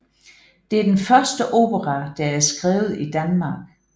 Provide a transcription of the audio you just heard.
Det er den første opera der er skrevet i Danmark